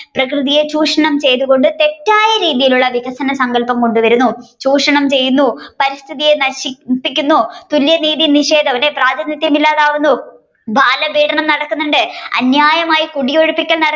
പ്രകൃതിയെ ചൂഷണം ചെയ്തു കൊണ്ട് തെറ്റായ രീതിയിൽ ഉള്ള വികസന സങ്കൽപം കൊണ്ട് വരുന്നു ചൂഷണം ചെയ്യുന്നു പരിസ്ഥിതിയെ നശിപ്പിക്കുന്നു തുല്യ നീതിയിൽ നിഷേധം അല്ലെ ഇല്ലാതാകുന്നു ബാലപീടനം നടക്കുന്നുണ്ട്. അന്യായമായി കുടിയൊഴുപ്പിക്കൽ